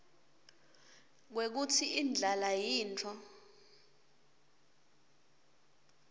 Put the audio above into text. kwekutsi indlala yintfo